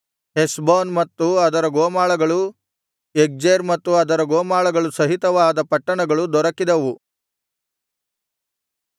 ಹೆಷ್ಬೋನ್ ಮತ್ತು ಅದರ ಗೋಮಾಳಗಳು ಯಗ್ಜೇರ್ ಮತ್ತು ಅದರ ಗೋಮಾಳಗಳು ಸಹಿತವಾದ ಪಟ್ಟಣಗಳು ದೊರಕಿದವು